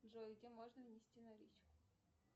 джой где можно внести наличку